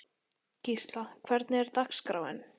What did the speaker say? Gísla, hvernig er dagskráin?